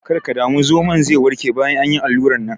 Kar ka damu, zomon ze warke bayan an yi allurar nan.